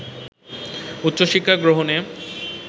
উচ্চশিক্ষা গ্রহণে